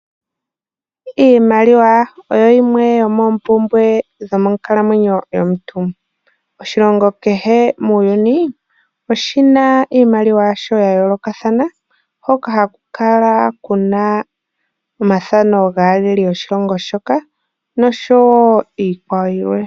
Iimaliwa oyo yimwe yomoompumbwe dhomonkalamwenyo yomuntu. Oshilongo kehe muuyuni oshina iimaliwa ya yoolokathana hoka haku kala omathano gaalaleli yoshilongo shoka niikwawo yilwe.